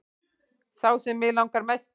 Sá sem mig langar mest í